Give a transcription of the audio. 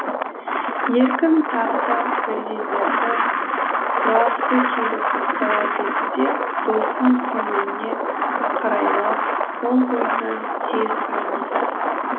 еркін тағы да бірдеңелерді сұрағысы келіп оқтала берді де досының көңіліне қарайлап ол ойынан тез айныды